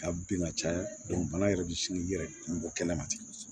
Ka bin ka caya bana yɛrɛ bi sin yɛrɛ kun bɔ kɛnɛ ma ten